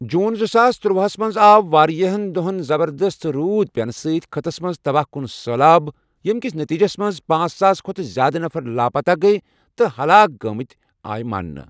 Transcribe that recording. جوٗن زٕساس تٔرَۄہس منٛز آو واریاہن دۄہن زبردست روُد پینہٕ سۭتۍ خٕطس منٛز تباہ کن سٔہلاب ، ییٚمہِ کس نٔتیٖجس منٛزپانژھ ساس کھۄتہٕ زیٛادٕ نفر لاپتہ گیہ تہٕ ہلاک گٲمٕتہِ آیہ ماننہٕ ۔